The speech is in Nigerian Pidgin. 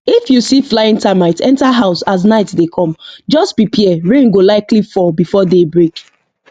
if you see flying termite enter house as night dey come just prepare rain go likely fall before day break